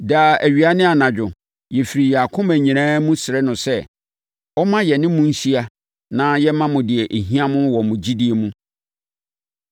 Daa awia ne anadwo, yɛfiri yɛn akoma nyinaa mu srɛ no sɛ, ɔmma yɛne mo nhyia na yɛmma mo deɛ ɛhia mo wɔ mo gyidie mu.